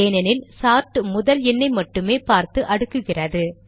ஏனெனில் சார்ட் முதல் எண்ணை மட்டுமே பார்த்து அடுக்குகிறது